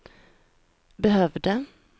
behövde